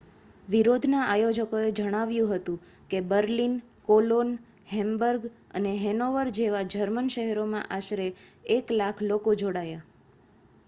વિરોધના આયોજકોએ જણાવ્યું હતું કે બર્લિન કોલોન હેમ્બર્ગ અને હેનોવર જેવા જર્મન શહેરોમાં આશરે 100,000 લોકો જોડાયા